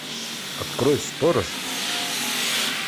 открой сторож